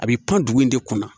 A bɛ pan dugu in de kunna